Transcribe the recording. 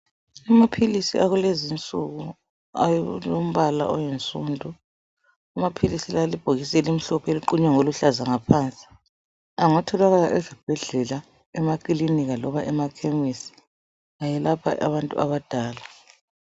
Amaphilisi akulezinsuku alombala oyinsundu amaphilisi la alebhokisi elimhlophe eliqunywe ngoluhlaza ngaphansi, angatholakala esibhedlela eklinika loba emakhemisi, ayelapha abantu abadala.